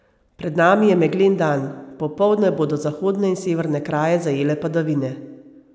Pred nami je meglen dan, popoldne bodo zahodne in severne kraje zajele padavine.